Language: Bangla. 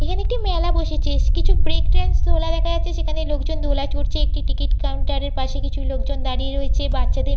এখানে একটি মেলা বসেছে। কিছু ব্রেক ডান্স দোলা দেখা যাচ্ছে। সেখানে লোকজন দোলা চড়ছে একটি টিকিট কাউন্টার এর পাশে কিছু লোকজন দাঁড়িয়ে রয়েছে। বাচ্চাদের--